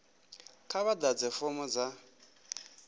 kha vha ḓadze fomo dza